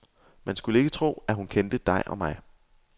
Man skulle ikke tro, hun kendte dig og mig.